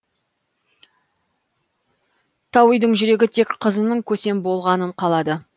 тауидың жүрегі тек қызының көсем болғанын қалады